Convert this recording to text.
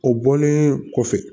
O bɔlen kɔfɛ